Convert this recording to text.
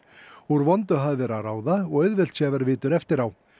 úr vondu hafi verið að ráða og auðvelt sé að vera vitur eftir á